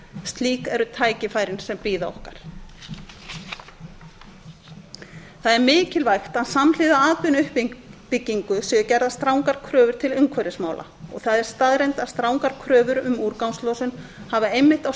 slík eru tækifærin sem bíða okkar það er mikilvægt að samhliða atvinnuuppbyggingu séu gerðar strangar kröfur til umhverfismála og það er staðreynd að strangar kröfur um úrgangslosun hafa einmitt á